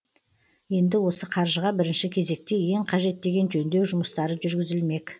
енді осы қаржыға бірінші кезекте ең қажет деген жөндеу жұмыстары жүргізілмек